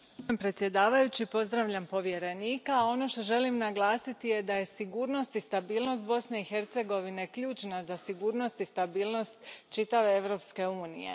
Poštovani predsjedavajući, pozdravljam povjerenika. Ono što želim naglasiti je da je sigurnost i stabilnost Bosne i Hercegovine ključna za sigurnost i stabilnost čitave Europske unije.